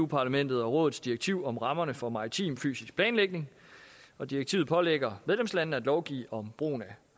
parlamentets og rådets direktiv om rammerne for maritim fysisk planlægning og direktivet pålægger medlemslandene at lovgive om brugen